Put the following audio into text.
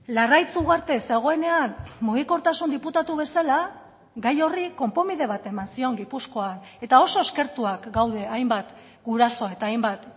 larraitz ugarte zegoenean mugikortasun diputatu bezala gai horri konponbide bat eman zion gipuzkoan eta oso eskertuak gaude hainbat guraso eta hainbat